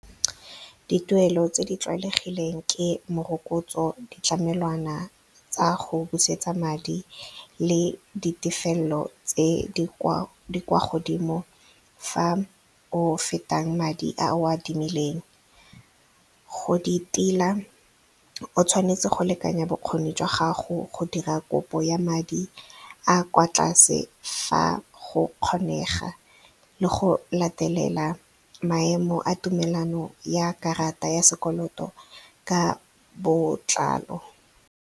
Dituelo tse di tlwaelegileng ke morokotso ditlamelwana tsa go busetsa madi le ditefelelo tse di kwa godimo fa o fetang madi a o a adimileng. Go di tila o tshwanetse go lekanya bokgoni jwa gago go dira kopo ya madi a kwa tlase fa go kgonega le go latelela maemo a tumelano ya karata ya sekoloto ka botlalo.